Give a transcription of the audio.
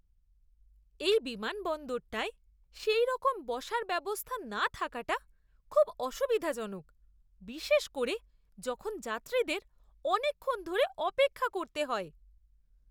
এই বিমানবন্দরটায় সেইরকম বসার ব্যবস্থা না থাকাটা খুব অসুবিধাজনক, বিশেষ করে যখন যাত্রীদের অনেকক্ষণ ধরে অপেক্ষা করতে হয়!